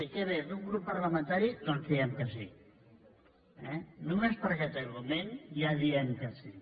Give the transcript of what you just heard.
què ve d’un grup parlamentari doncs diem que sí només per aquest argument ja diem que sí